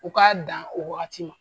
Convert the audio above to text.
U k'a dan o waati ma